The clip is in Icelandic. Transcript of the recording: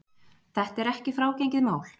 Þetta er ekki frágengið mál